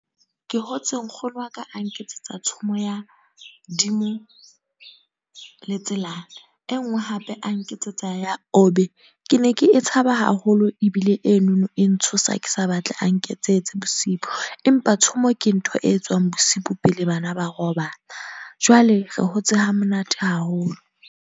Ke hotse nkgono wa ka a nketsetsa tshomong ya dimo le Tselane. E nngwe hape a nketsetsa ya Obe. Ke ne ke e tshaba ebile enono e ntshosa ke sa batle a nketsetse bosibu. Empa tshomo ke ntho e etswang bosibu pele bana ba robala. Jwale re hotse hamonate haholo.